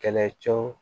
Kɛlɛcɛw